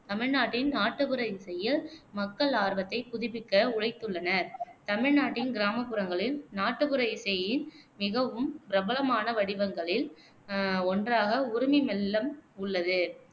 தமிழ்நாட்டின் நாட்டுப்புற இசையில் மக்கள் ஆர்வத்தை மீட்டெடுக்க உழைத்துள்ளனர். தமிழ்நாட்டின் கிராமப்புறங்களில் நாட்டுப்புற இசையின் மிகவும் பிரபலமான வடிவங்களில் அஹ் ஒன்றாக உருமி மெல்லம் உள்ளது